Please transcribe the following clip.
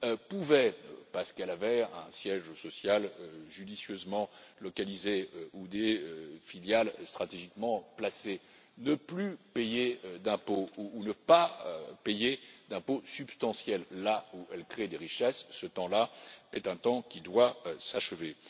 pouvait, parce qu'elle avait un siège social judicieusement localisé ou des filiales stratégiquement placées, ne plus payer d'impôts ou ne pas payer d'impôts substantiels là où elle crée des richesses, ce temps là est un temps qui doit s'achever.